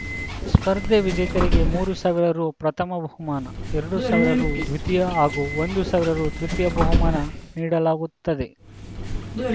ಸ್ಪರ್ಧೆ ವಿಜೇತರಿಗೆ ಮೂರು ಸಾವಿರ ರು ಪ್ರಥಮ ಬಹುಮಾನ ಎರಡು ಸಾವಿರ ರು ದ್ವೀತಿಯ ಹಾಗೂ ಒಂದು ಸಾವಿರ ರು ತೃತೀಯ ಬಹುಮಾನ ನೀಡಲಾಗುತ್ತದೆ